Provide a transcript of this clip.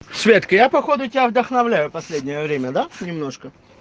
светка я походу тебя вдохновляю последнее время да немножко